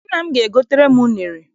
Nna m ga-egotere m unere.